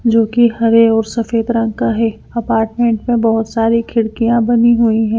जो कि हरे और सफेद रंग का है अपार्टमेंट में बहुत सारी खिड़कियां बनी हुई है।